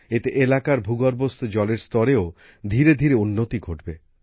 এতে এলাকার ভূগর্ভস্থ জলের স্তরেও ধীরেধীরে উন্নতি ঘটবে